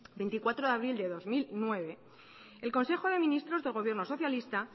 veinticuatro de abril de dos mil nueve el consejo de ministros del gobierno socialista